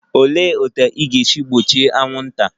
Olee otú ị ga-esi gbochie anwụnta?